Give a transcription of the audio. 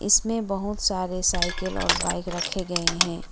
इसमें बहुत सारे साइकिल और बाइक रखे गए हैं।